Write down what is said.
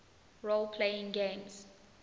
role playing games